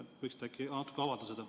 Võiksite äkki natuke avada seda?